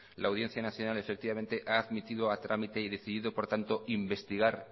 la audiencia nacional efectivamente ha admitido a trámite y decido por tanto investigar